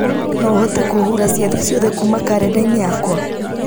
no ũhote kũhura ciathĩ ciothe kuma karenda-inĩ yakwa